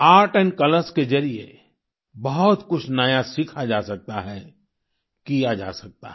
art and colours के जरिए बहुत कुछ नया सीखा जा सकता है किया जा सकता है